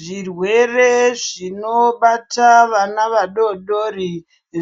Zvirwere zvinobata vana vadodori